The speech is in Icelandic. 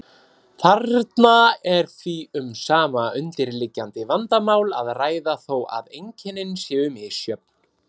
Þarna er því um sama undirliggjandi vandamál að ræða þó að einkennin séu misjöfn.